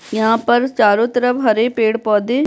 यहाँ पर चारों तरफ हरे पेड़-पौधे --